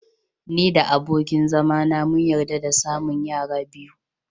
Ni da abokin zama na mun yarda da samun yara biyu.